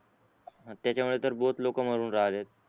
त्याचा मुळे तर लोक मरून राहिलेत